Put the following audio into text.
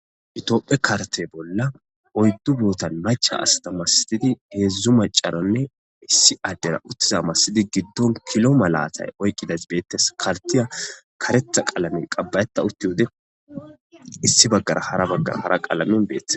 Ethophe karite bolla macca assa malatidi hedzu assa malatidi hedzu macerane issi adera giddoni kilo malata oyikidayis betesi karitiya karetha qalme qaba'eta utewude issi bagar hara qalame betes